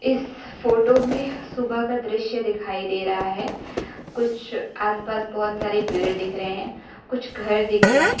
इस फोटो में सुबह का दृश्य दिखाई दे रहा है कुछ आस पास बहोत सारे पेड़ दिखाई दे रहे है कुछ घर दिख रहें --